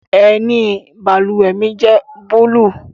Ẹni i bálúwẹ̀ mi jẹ̀ búlúù.